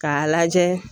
K'a lajɛ